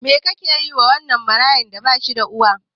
Me kake yiwa wannan marayan da bashida uwa.